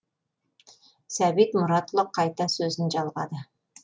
сәбит мұратұлы қайта сөзін жалғады